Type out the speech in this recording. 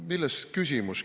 Milles küsimus?